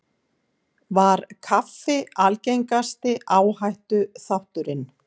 Var kaffi algengasti áhættuþátturinn